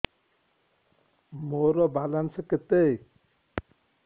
ମୋର ବାଲାନ୍ସ କେତେ